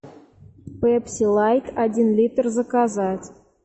пепси лайт один литр заказать